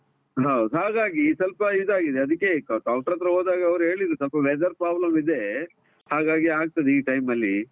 ಹೌದು ಹಾಗಾಗಿ ಸ್ವಲ್ಪ ಇದಾಗಿದೆ, ಅದಿಕೆ ಈಗ Doctor ಹತ್ರ ಹೋದಾಗ ಅವ್ರು ಹೇಳಿದ್ರು ಸ್ವಲ್ಪ weather problem ಇದೆ ಹಾಗಾಗಿ ಆಗ್ತದೆ ಈ time ಅಲ್ಲಿ.